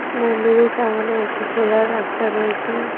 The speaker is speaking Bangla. মন্দিরের সামোনে একটি খোলা রাস্তা রয়েছে।